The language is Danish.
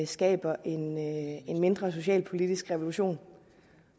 skaber en mindre socialpolitisk revolution